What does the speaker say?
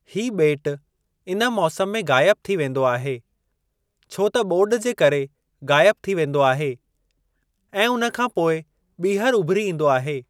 हीउ ॿेट इन मौसम में ग़ाइब थी वेंदो आहे छो त ॿोॾु जे करे ग़ाइब थी वेंदो आहे ऐं उन खां पोइ ॿीहर उभिरी ईंदो आहे।